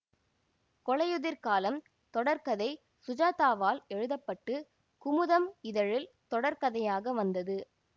கொலையுதிர்காலம் தொடர்கதை சுஜாதாவால் எழுத பட்டு குமுதம் இதழில் தொடர்கதையாக வந்தது